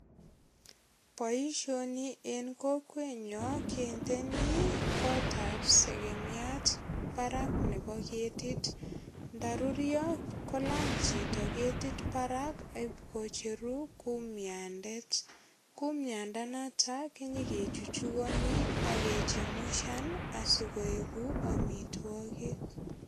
Boisioni en kokwenyo kindeni kotab segemiat barak nebo ketit. Ndarurio kolany chito ketit barak ipkocheru kumyandet. Kumyandanoto kinyekechuchugani ak kechemushan asokoegu amitwogik.